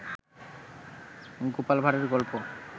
গোপাল ভাড়ের গল্প